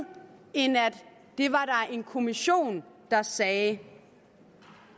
en kommission der sagde